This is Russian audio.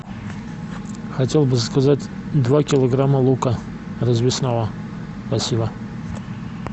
хотел бы заказать два килограмма лука развесного спасибо